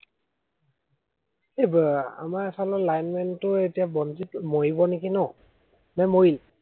এৰ আমাৰ এইফালৰ লাইন মেন টোও এতিয়া বনজিত মৰিব নেকি ন? নে মৰিল?